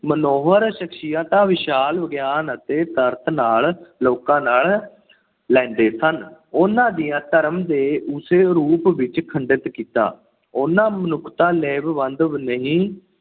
ਮਨੋਹਰ ਸ਼ਖ਼ਸੀਅਤਾਂ, ਵਿਸ਼ਾਲ ਗਿਆਨ ਅਤੇ ਤਰਕ ਨਾਲ ਲੋਕਾਂ ਨਾਲ ਲੈਂਦੇ ਸਨ। ਉਹਨਾਂ ਦੀਆਂ ਧਰਮ ਦੇ ਉਸੇ ਰੂਪ ਵਿੱਚ ਖੰਡਿਤ ਕੀਤਾ ਉਹਨਾ ਮਨੁੱਖਤਾ ਲਾਹੇਵੰਦ ਨਹੀਂ